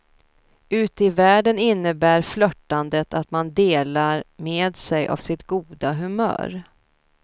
Ute i världen innebär flörtandet att man delar med sig av sitt goda humör.